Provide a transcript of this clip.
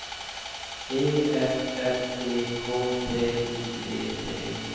E F F E K T I V T